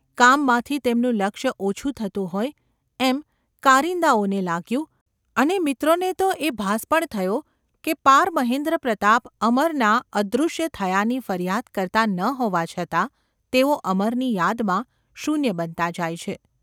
કામમાંથી તેમનું લક્ષ્ય ઓછું થતું હોય એમ કારિન્દાઓને લાગ્યું અને મિત્રોને તો એ ભાસ પણ થયો કે પાર મહેન્દ્રપ્રતાપ અમરના અદૃશ્ય થયાની ફરિયાદ કરતા ન હોવા છતાં તેઓ અમરની યાદમાં શૂન્ય બનતા જાય છે.